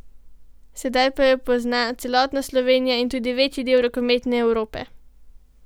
Sedaj pa ju pozna celotna Slovenija in tudi večji del rokometne Evrope.